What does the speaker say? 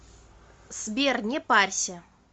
сбер не парься